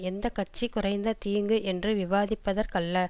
எந்த கட்சி குறைந்த தீங்கு என்று விவாதிப்பதற்கல்ல